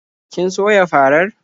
Kin soya farar?